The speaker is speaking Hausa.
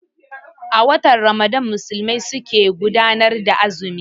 A watan Ramadan Musulmai su ke gudanar da azumi